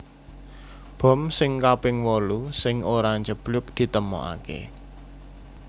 Bom sing kaping wolu sing ora njeblug ditemokaké